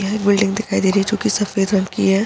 यहाँ एक बिल्डिंग दिखाई दे रही है जो की सफ़ेद रंग की है।